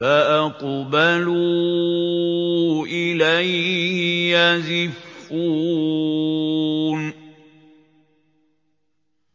فَأَقْبَلُوا إِلَيْهِ يَزِفُّونَ